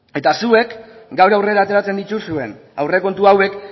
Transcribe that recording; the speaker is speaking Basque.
eta zuek gaur aurrera ateratzen dituzuen aurrekontu hauek